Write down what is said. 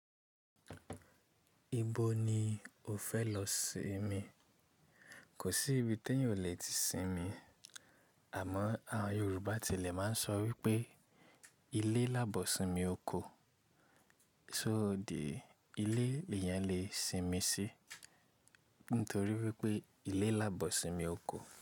Ibo ni o fẹ lọ sinmi? Kò sí ibi téèyàn ò lè ti sinmi, àmọ àwọn Yorùbá tẹ́lẹ̀ máa ń sọ wípé ilé lábọ̀ ìsinmi oko, so dì í ilé lèèyàn lè sinmi sí nítorí wípé ilé lábọ̀ ìsinmi oko.